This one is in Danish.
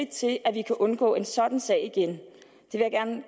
til at vi kan undgå en sådan sag igen